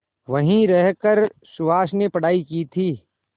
वहीं रहकर सुहास ने पढ़ाई की थी